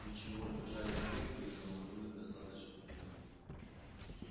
ничего держались крепко и наложили достаточно туго